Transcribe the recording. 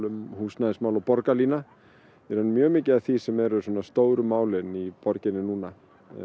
og húsnæðismálum og borgarlína í raun mjög mikið af því sem eru stóru málin í borginni núna